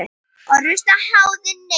orrustu háði neina.